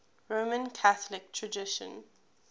roman catholic tradition